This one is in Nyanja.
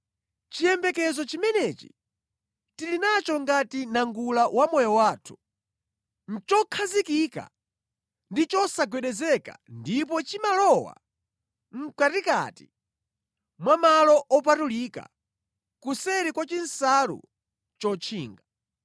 Chiyembekezo chimenechi tili nacho ngati nangula wa moyo wathu. Nʼchokhazikika ndi chosagwedezeka ndipo chimalowa mʼkatikati mwa malo opatulika, kuseri kwa chinsalu chotchinga.